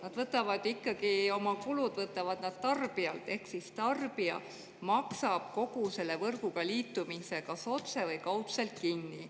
Nad võtavad ikkagi oma kulud tarbijalt ehk tarbija maksab kogu selle võrguga liitumise kas otse või kaudselt kinni.